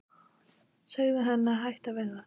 Segðu henni að hætta við það.